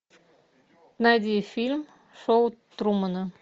найди фильм шоу трумана